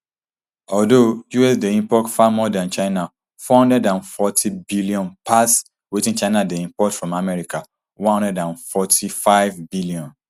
although us dey import far more from china four hundred and fortybn pass wetin china dey import from america one hundred and forty-fivebn